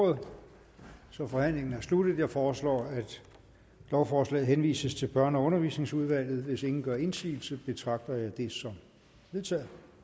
ordet så forhandlingen er sluttet jeg foreslår at lovforslaget henvises til børne og undervisningsudvalget hvis ingen gør indsigelse betragter jeg det som vedtaget